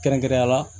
Kɛrɛnkɛrɛnnenya la